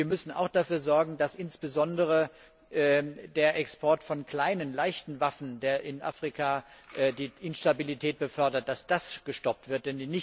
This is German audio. Wir müssen auch dafür sorgen, dass insbesondere der Export von kleinen, leichten Waffen, der in Afrika die Instabilität fördert, gestoppt wird.